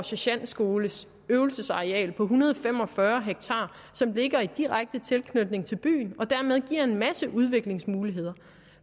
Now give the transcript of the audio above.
sergentskolens øvelsesareal på en hundrede og fem og fyrre ha som ligger i direkte tilknytning til byen og dermed giver en masse udviklingsmuligheder